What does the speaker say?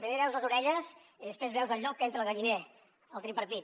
primer veus les orelles i després veus el llop que entra al galliner el tripartit